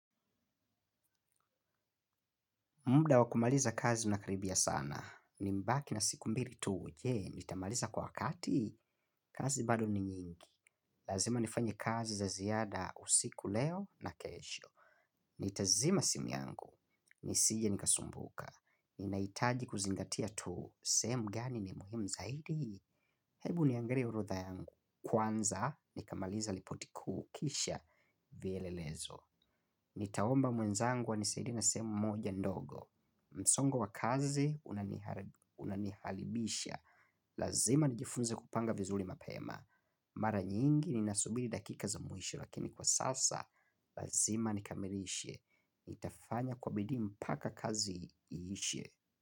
Muda wa kumaliza kazi unakaribia sana. Nimebaki na siku mbili tu je, nitamaliza kwa wakati, kazi bado ni nyingi. Lazima nifanye kazi za ziada usiku leo na kesho. Nitazima simu yangu, nisije nikasumbuka. Ninahitaji kuzingatia tu, sehemu gani ni muhimu zaidi. Hebu niangalie orodha yangu. Kwanza nikamaliza ripoti kuu kisha vielelezo. Nitaomba mwenzangu anisaidie na sehemu moja ndogo. Msongo wa kazi unanihalibisha lazima nijifunze kupanga vizuri mapema. Mara nyingi ni nasubiri dakika za mwisho lakini kwa sasa lazima nikamilishe nitafanya kwa bidii mpaka kazi iishe.